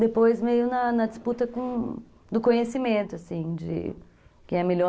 Depois, meio na na disputa do conhecimento, assim, de quem é melhor.